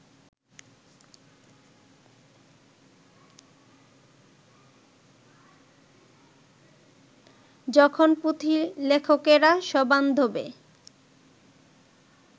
তখন পুঁথিলেখকেরা সবান্ধবে